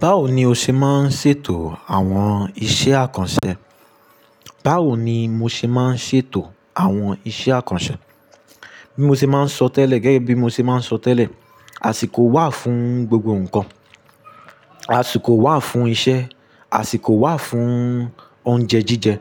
Báwo ni o ṣe máa ń ṣètò àwọn iṣẹ́ àkànṣe? Báwo ni mo ṣe máa ń ṣètò àwọn iṣẹ́ àkànṣe? Bí mo ṣe máa ń sọ tẹ́lẹ̀, gẹ́gẹ́ bí mo ṣe máa ń sọ tẹ́lẹ̀, àsìkò wà fún gbogbo nnkan. Àsìkò wà fún iṣẹ́, àsìkò wà fún oúnjẹ jíjẹ,